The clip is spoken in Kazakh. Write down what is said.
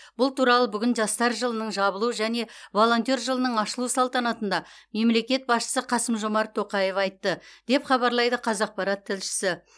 бұл туралы бүгін жастар жылының жабылу және волонтер жылының ашылу салтанатында мемлекет басшысы қасым жомарт тоқаев айтты деп хабарлайды қазақпарат тілшісі